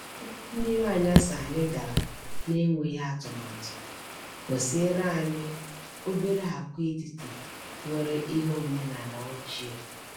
Ụgbọ mmiri anyasị anyị gara n’enweghị atụmatụ gosiere anyị obere agwaetiti nwere ihe omenaala ochie.